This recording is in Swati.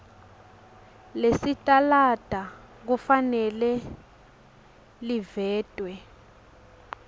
lesitalada kufanele livetwe